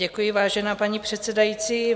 Děkuji, vážená paní předsedající.